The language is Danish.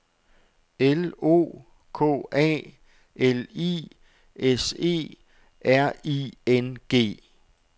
L O K A L I S E R I N G